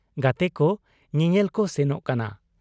ᱜᱟᱛᱮᱠᱚ ᱧᱮᱧᱮᱞᱠᱚ ᱥᱮᱱᱚᱜ ᱠᱟᱱᱟ ᱾